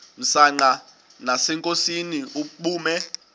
msanqa nasenkosini ubume